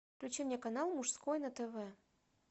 включи мне канал мужской на тв